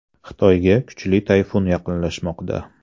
Xitoyga kuchli tayfun yaqinlashmoqda.